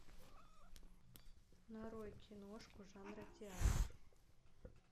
нарой киношку жанра театр